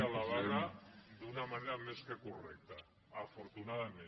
a la vaga d’una manera més que correcta afortunadament